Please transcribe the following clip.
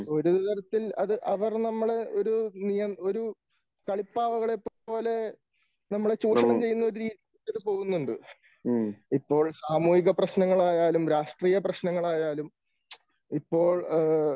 ഒരു തരത്തിൽ അത് അവർ നമ്മൾ ഒരു നിയ ഒരു കളിപ്പാവകളെ പോലെ നമ്മളെ ചൂഷണം ചെയ്യുന്ന രീതിയിൽ അത് പോകുന്നുണ്ട്. ഇപ്പോൾ സാമൂഹിക പ്രശ്നങ്ങൾ ആയാലും രാഷ്ട്രീയ പ്രശ്നങ്ങൾ ആയാലും ഇപ്പോൾ.